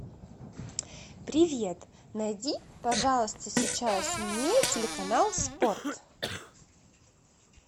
привет найди пожалуйста сейчас мне телеканал спорт